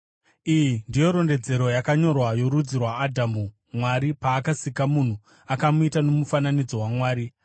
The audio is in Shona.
Iyi ndiyo rondedzero yakanyorwa yorudzi rwaAdhamu. Mwari paakasika munhu akamuita nomufananidzo waMwari.